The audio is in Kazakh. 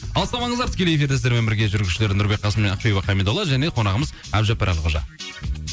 алыстамаңыздар тікелей эфирде сіздермен бірге жүргізушілер нұрбек қасым және ақбибі хамидолла және қонағымыз әбдіжаппар әлқожа